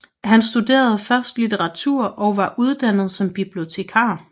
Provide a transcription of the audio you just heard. Han studerede først litteratur og var uddannet som bibliotekar